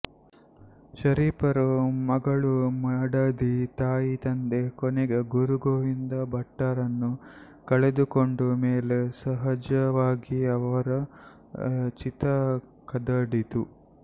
ಶರೀಫರು ಮಗಳು ಮಡದಿ ತಾಯಿತಂದೆ ಕೊನೆಗೆ ಗುರುಗೋವಿಂದ ಭಟ್ಟರನ್ನು ಕಳೆದುಕೊಂಡ ಮೇಲೆ ಸಹಜವಾಗಿ ಅವರ ಚಿತ್ತ ಕದಡಿತು